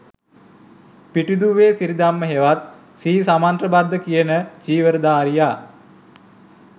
පිටිදූවේ සිරිධම්ම හෙවත් ශ්‍රී සමන්තභද්ධ කියන චීවර දාරිය